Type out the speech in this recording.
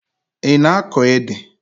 Ị na-akọ ede?